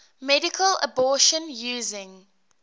medical abortion using